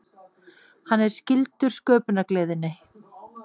Hann er skyldur sköpunargleðinni.